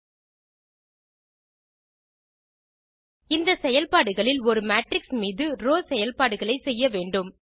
இந்த செயல்பாடுகளில் ஒரு மேட்ரிக்ஸ் மீது ரோவ் செயல்பாடுகளை செய்ய வேண்டும்